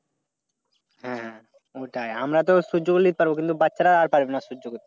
হ্যাঁ ওটাই আমরা তো সহ্য করে নিতে পারব, কিন্তু বাচ্চারাও পারে না সহ্য করতে।